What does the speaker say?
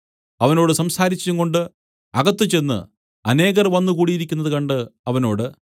അവനോട് സംസാരിച്ചുംകൊണ്ട് അകത്ത് ചെന്ന് അനേകർ വന്നു കൂടിയിരിക്കുന്നത് കണ്ട് അവനോട്